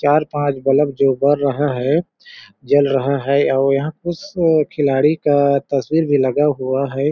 चार पाँच बलब जो बर रहा है जल रहा है और यहाँ कुछ खिलाड़ी का तस्वीर भी लगा हुआ है।